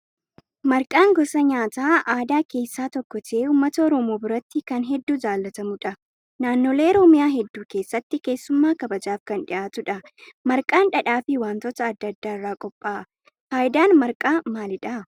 Marqaan gosa nyaata aadaa keessaa tokko ta'ee uummata oromoo biratti kan hedduu jaallatamudha. Naannolee oromiyaa hedduu keessatti keessummaa kabajaaf kan dhiyaatudha. Marqaan dhadhaa fi wantoota adda addaa irraa qophaa'a. Fayidaan marqaa maalidha?